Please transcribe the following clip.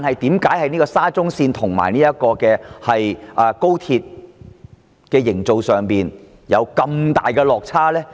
但是，為何沙中線及高鐵的建造工程卻出現這麼大的落差呢？